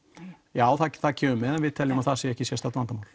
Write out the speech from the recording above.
já það kemur með en við teljum að það sé ekki sérstakt vandamál